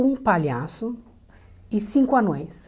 Um palhaço e cinco anões.